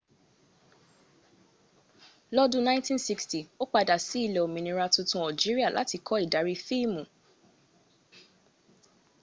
lọ́dún !960 ó padà sí ilẹ̀ olómìnira tuntun algeria láti kọ́ ìdarí fíìmù